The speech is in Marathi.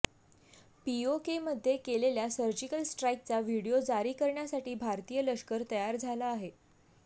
पीओकेमध्ये केलेल्या सर्जिकल स्ट्राईकचा व्हिडिओ जारी करण्यासाठी भारतीय लष्कर तयार झालं आहे